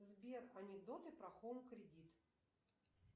сбер анекдоты про хоум кредит